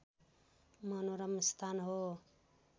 मनोरम स्थान हो